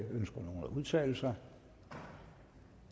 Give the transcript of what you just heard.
udtale sig